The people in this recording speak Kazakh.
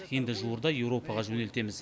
енді жуырда еуропаға жөнелтеміз